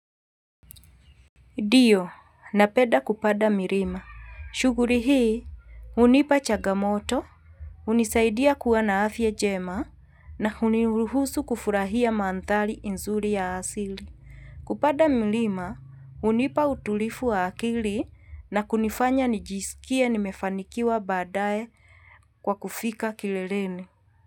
Ndio napenda kupanda milima. Shughuli hii hunipa chagamoto, hunisaidia kuwa na afya njema na huniruhusu kufurahia mandhari nzuri ya asili. Kupanda mlima, hunipa utulivu wa akili na kunifanya nijisikie nimefanikiwa badae kwa kufika kileleni.